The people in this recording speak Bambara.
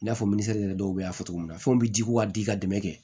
I n'a fɔ minisɛri de do y'a cogo min na fɛnw bɛ ji ko ka di ka dɛmɛ kɛ